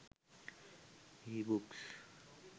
ebooks